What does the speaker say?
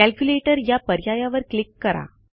calculator या पर्यायावर click करा